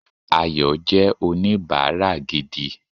Ayò jé oníbáárà gidi